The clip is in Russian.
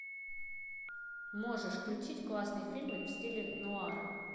можешь включить классный фильмик в стиле нуара